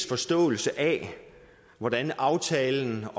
forståelse af hvordan aftalen